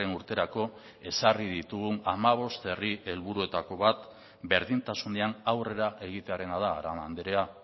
urterako ezarri ditugun hamabost herri helburuetako bat berdintasunean aurrera egitearena da arana andrea